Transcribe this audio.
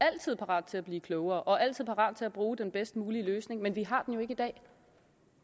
altid parat til at blive klogere og altid parat til at bruge den bedst mulige løsning men den har jo ikke i dag